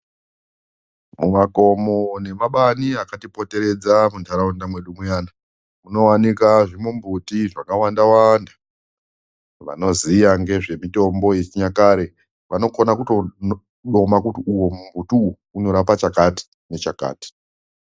Mumakomo nemabani akatipoteredza muntaraunda mwedu muyana munowanikwa zvimbuti zvakawanda wanda vanoziya ngezvemitombo yechinyakare vanokone kutoudoma kuti uyo mumbuti uwo unorapa chakati nechakati.